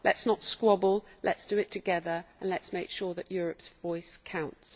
Let us not squabble, let us do it together, and let us make sure that Europe's voice counts.